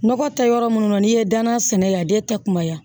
Nɔgɔ tɛ yɔrɔ minnu na n'i ye danaya sɛnɛ yan a den tɛ kunbaya